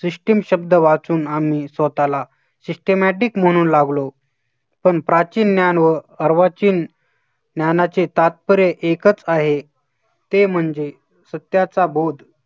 System शब्द वाचून आम्ही स्वतःला systematic म्हणू लागलो, पण प्राचीन ज्ञान व अर्वाचीन ज्ञानाचे तात्पर्य एकच आहे, ते म्हणजे सत्याचा बोध